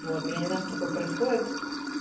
вот я не знаю что такое происходит